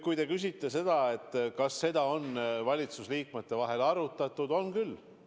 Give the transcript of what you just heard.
Kui te nüü küsite, kas seda on valitsusliikmete vahel arutatud, siis on küll.